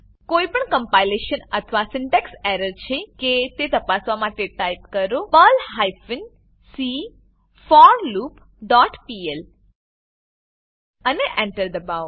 કોઈપણ કમ્પાઈલેશન અથવા syntax error છે કે તે તપાસવા માટે ટાઈપ કરો Perl hyphen c for loop dot pl અને Enter એન્ટર દબાવો